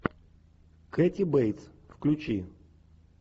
кэти бейтс включи